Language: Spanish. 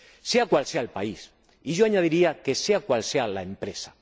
sea cual sea el país, y yo añadiría que sea cual sea la empresa.